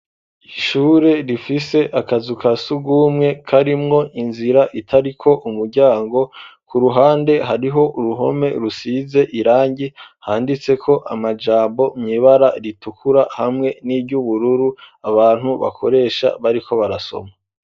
Ishure, rifise akazu ka surwumwe, karimwo inzira, itariko umuryango; ku ruhande, hariho uruhome, rusize irangi; handitseko amajambo, mw'ibara ritukura, hamwe n'iry'ubururu, abantu bakoresha, bariko barasoma.